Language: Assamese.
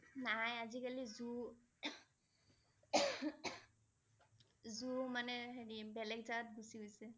নাই আজি কালি zoo zoo মানে হেৰী বেলেগ জাগাত গুচি গৈছে